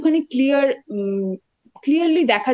একটুখানি clear um clearly দেখা যাবে